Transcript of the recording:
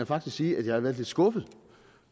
faktisk sige at jeg har været lidt skuffet